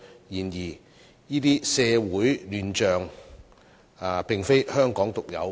然而，這些社會亂象並非香港獨有。